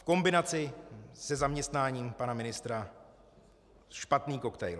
V kombinaci se zaměstnáním pana ministra - špatný koktejl.